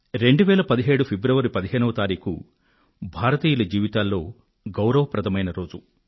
2017 ఫిబ్రవరి 15వ తేదీ భారతీయుల జీవితాలలో గౌరవప్రదమైన రోజు